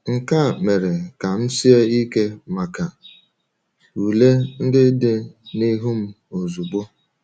Nke a mere ka m sie ike maka ule ndị dị n’ihu m ozugbo.